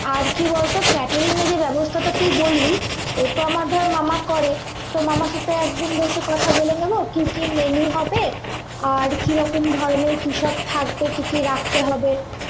আর কি বলতো catering এর যেই ব্যবস্থা তুই বললি ও তো আমার ধর আমার মামা করে তো মামার সাথে একদিন বসে কথা বলে নেবো কি কি menu হবে আর কি রকম ধরনের কি সব থাকবে কি কি রাখতে হবে